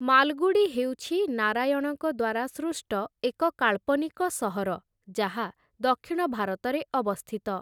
ମାଲଗୁଡ଼ି ହେଉଛି ନାରାୟଣଙ୍କ ଦ୍ୱାରା ସୃଷ୍ଟ ଏକ କାଳ୍ପନିକ ସହର ଯାହା ଦକ୍ଷିଣ ଭାରତରେ ଅବସ୍ଥିତ ।